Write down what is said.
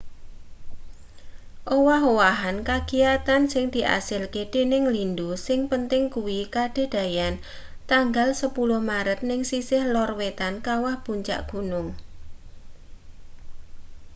owah-owahan kagiyatan sing diasilke dening lindhu sing penting kuwi kadadeyan tanggal 10 maret ning sisih lor wetan kawah puncak gunung